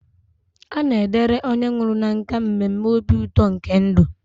A na-edere onye nwụrụ na nkà mmemme obi ụtọ nke ndụ.